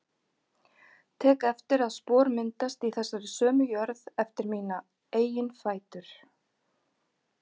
Tek eftir að spor myndast í þessari sömu jörð eftir mína eigin fætur.